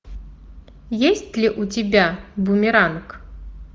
есть ли у тебя бумеранг